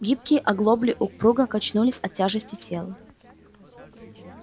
гибкие оглобли упруго качнулись от тяжести тела